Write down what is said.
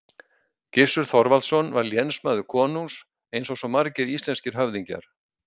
Gissur Þorvaldsson var lénsmaður konungs, eins og svo margir íslenskir höfðingjar.